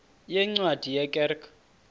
yeencwadi ye kerk